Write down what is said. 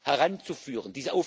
heranzuführen.